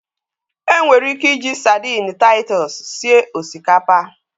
Enwere ike iji sadini Taitus sie osikapa.